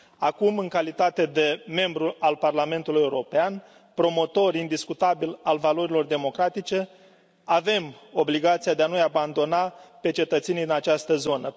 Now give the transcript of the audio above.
Acum, în calitate de membru al Parlamentului European, promotor indiscutabil al valorilor democratice, avem obligația de a nu i abandona pe cetățenii din această zonă.